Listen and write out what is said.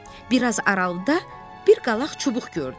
Bir az aralıda bir qalaq çubuq gördüm.